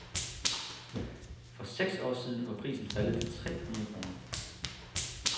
For seks år siden var prisen faldet til tre hundrede kroner.